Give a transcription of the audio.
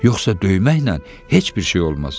Yoxsa döyməklə heç bir şey olmaz.